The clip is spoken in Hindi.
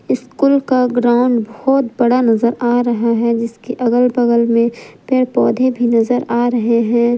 स्कूल का ग्राउंड बहोत बड़ा नजर आ रहा है जिसके अगल बगल में पेड़ पौधे भी नजर आ रहे हैं।